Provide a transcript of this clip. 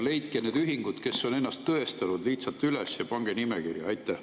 Leidke need ühingud, kes on ennast tõestanud, lihtsalt üles ja pange nimekirja!